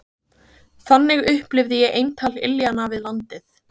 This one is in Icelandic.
Þannig upplifði ég eintal iljanna við landið.